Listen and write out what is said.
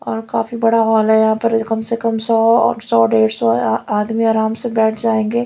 और काफी बड़ा हॉल है यहां पर कम से कम सौ सौ डेढ़ सौ आदमी आराम से बैठ जाएंगे।